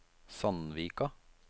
Sandvika